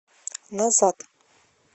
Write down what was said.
назад